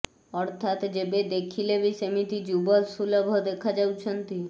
ଅର୍ଥାତ୍ ଯେବେ ଦେଖିଲେ ବି ସେମିତି ଯୁବ ସୁଲଭ ଦେଖାଯାଉଛନ୍ତି